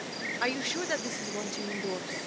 Are you sure that this is what you endorse?